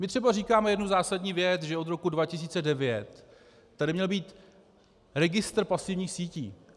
My třeba říkáme jednu zásadní věc, že od roku 2009 tady měl být registr pasivních sítí.